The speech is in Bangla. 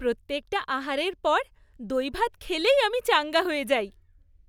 প্রত্যেকটা আহারের পর দইভাত খেলেই আমি চাঙ্গা হয়ে যাই।